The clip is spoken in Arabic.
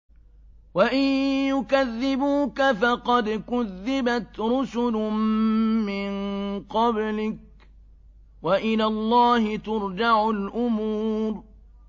وَإِن يُكَذِّبُوكَ فَقَدْ كُذِّبَتْ رُسُلٌ مِّن قَبْلِكَ ۚ وَإِلَى اللَّهِ تُرْجَعُ الْأُمُورُ